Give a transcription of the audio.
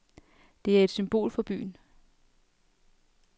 Det er et symbol for byen.